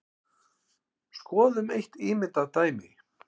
Skoðum eitt ímyndað dæmi.